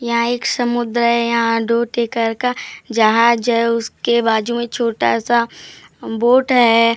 यहां एक समुद्र है यहां का जहाज है उसके बाजू में छोटा सा बोट है।